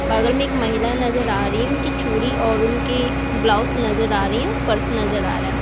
बगल में एक महिला नजर आ रही है उनकी चूड़ी और उनकी ब्लाउज नजर आ रही है पर्स नजर आ रहा है।